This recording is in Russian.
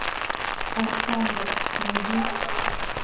александр найди